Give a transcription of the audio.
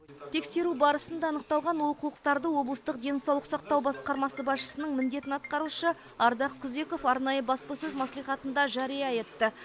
тексеру барысында анықталған олқылықтарды облыстық денсаулық сақтау басқармасы басшысының міндетін атқарушы ардақ күзеков арнайы баспасөз мәслихатында жария етті